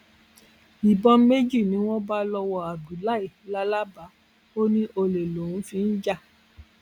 ìbọn méjì ni wọn bá lọwọ abdullahi làlábà ò ní olè lòún fi ń jà